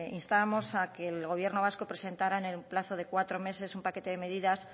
instábamos a que el gobierno vasco presentara en un plazo de cuatro meses un paquete de medidas